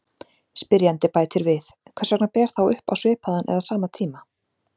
Spyrjandi bætir við: Hvers vegna ber þá upp á svipaðan eða sama tíma?